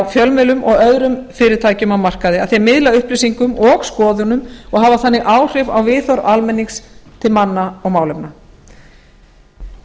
fjölmiðlum og öðrum fyrirtækjum á markaði að þeir miðla upplýsingum og skoðunum og hafa þannig áhrif á viðhorf almennings til manna og málefna